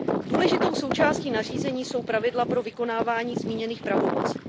Důležitou součástí nařízení jsou pravidla pro vykonávání zmíněných pravomocí.